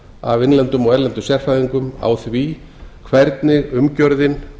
af innlendum og erlendum sérfræðingum á því hvernig umgjörðin